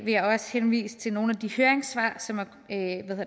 jeg også henvise til nogle af de høringssvar som